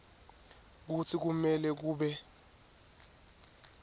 kutsi kumele kube